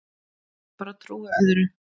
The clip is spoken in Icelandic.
Ég bara trúi öðru.